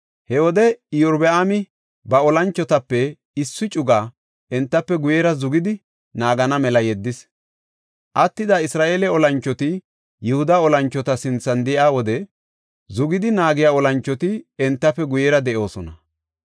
He wode Iyorbaami ba olanchotape issi cugaa entafe guyera zugidi naagana mela yeddis. Attida Isra7eele olanchoti Yihuda olanchota sinthan de7iya wode zugidi naagiya olanchoti entafe guyera de7oosona.